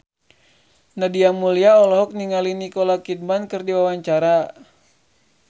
Nadia Mulya olohok ningali Nicole Kidman keur diwawancara